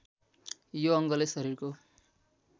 यो अङ्गले शरीरको